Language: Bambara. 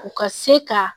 U ka se ka